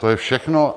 To je všechno.